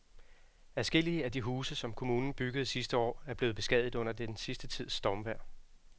Adskillige af de huse, som kommunen byggede sidste år, er blevet beskadiget under den sidste tids stormvejr.